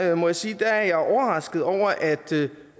jeg må sige at jeg er overrasket over at